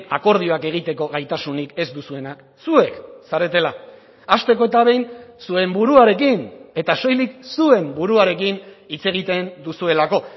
akordioak egiteko gaitasunik ez duzuenak zuek zaretela hasteko eta behin zuen buruarekin eta soilik zuen buruarekin hitz egiten duzuelako